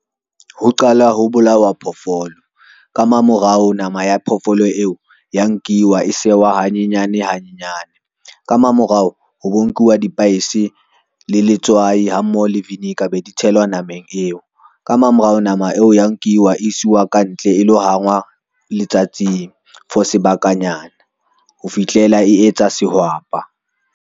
Ho qala ho bolawa phoofolo ka mamorao, nama ya phofolo eo ya nkiwa e sewa hanyenyane hanyenyane ka mamorao, ho bo nkuwa dipaese le letswai ha mmoho le vinegar be di tshelwa nameng eo. Ka mamorao nama eo ya nkiwa isiwa ka ntle e lo hangwa letsatsing for sebakanyana, ho fihlela e etsa sehwapa.